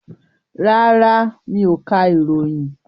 Rárá, mi ò ka ìròyìn.